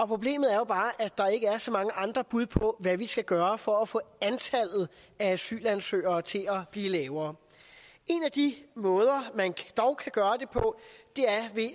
problemet er jo bare at der ikke er så mange andre bud på hvad vi skal gøre for at få antallet af asylansøgere til at blive lavere en af de måder man dog kan gøre det på